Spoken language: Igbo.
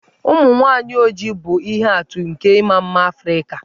Ụmụ nwaanyị ojii bụ ihe atụ nke ịma mma Afrịka.